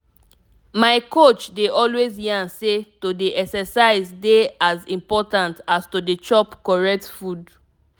my coach dey always yarn say to dey exercise dey as important as to dey chop correct food.